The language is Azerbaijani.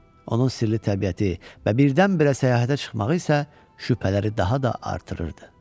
Onun sirli təbiəti və birdən-birə səyahətə çıxmağı isə şübhələri daha da artırırdı.